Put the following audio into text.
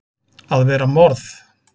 AÐ VERA MORÐ!